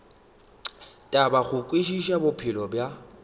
thata go kwešiša bophelo bja